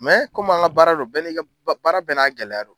komi an ka baara don, bɛ ni ka baara bɛɛ n'a gɛlɛya don